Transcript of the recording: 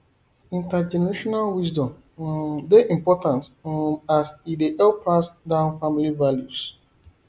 intergenerational wisdom um dey important um as e dey help pass down family values